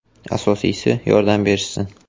Asosiysi, yordam berishsin”.